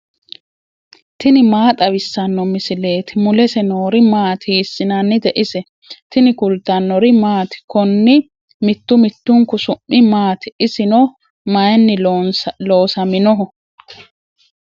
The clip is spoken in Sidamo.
tini maa xawissanno misileeti ? mulese noori maati ? hiissinannite ise ? tini kultannori maati? Konni mittu mittunku su'mi maatti? isinno mayiinni loosamminno?